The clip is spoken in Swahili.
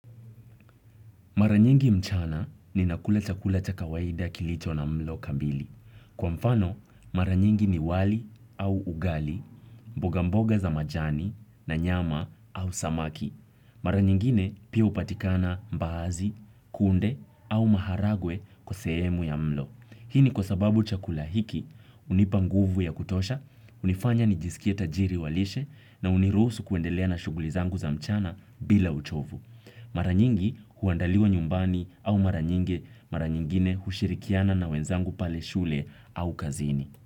Mara nyingi mchana ninakula chakula cha kawaida kilicho na mlo kamili. Kwa mfano, mara nyingi ni wali au ugali, mbogamboga za majani na nyama au samaki. Mara nyingine pia hupatikana mbaazi, kunde au maharagwe kwa sehemu ya mlo. Hii ni kwa sababu chakula hiki, hunipa nguvu ya kutosha, hunifanya nijisikie tajiri wa lishe na huniruhusu kuendelea na shughuli zangu za mchana bila uchovu. Mara nyingi huandaliwa nyumbani au mara nyingi, mara nyingine hushirikiana na wenzangu pale shule au kazini.